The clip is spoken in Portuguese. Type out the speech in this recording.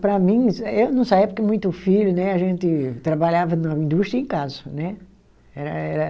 Para mim, eu não saía porque muito filho né, a gente trabalhava na indústria e em casa né. Era era